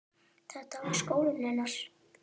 Þetta var skólinn hennar.